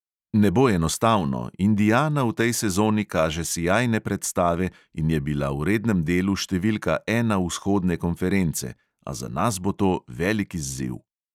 Ne bo enostavno, indiana v tej sezoni kaže sijajne predstave in je bila v rednem delu številka ena vzhodne konference, a za nas bo to velik izziv.